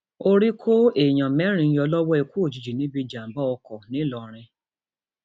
orí kó èèyàn mẹrin yọ lọwọ ikú òjijì níbi jáḿbá ọkọ ńlọrọrin